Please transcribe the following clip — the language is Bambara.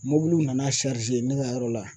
Mɔbiliw nana ne ka yɔrɔ la